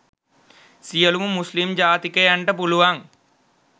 සියලුම මුස්‌ලිම් ජාතිකයන්ට පුළුවන්